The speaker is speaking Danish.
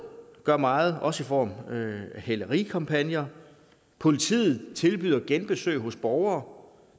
gør meget også i form af hælerikampagner politiet tilbyder genbesøg hos borgere